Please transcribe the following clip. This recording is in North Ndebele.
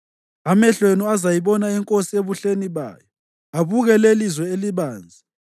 Amehlo enu azayibona inkosi ebuhleni bayo, abuke lelizwe elibanzi.